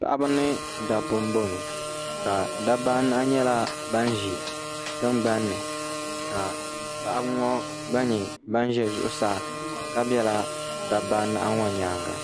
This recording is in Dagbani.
Paɣiba ni dabba m-bɔŋɔ ka dabba anahi nyɛla ban ʒi tingbani ni ka paɣiba ŋɔ gba nyɛ ban ʒe zuɣusaa ka bela dabba anahi ŋɔ nyaaŋa